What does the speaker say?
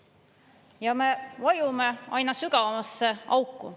Ja me vajume aina sügavamasse auku.